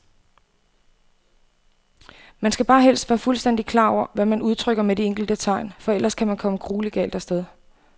Man skal bare helst være fuldstændigt klar over, hvad man udtrykker med de enkelte tegn, for ellers kan man komme grueligt galt af sted.